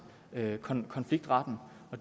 konfliktretten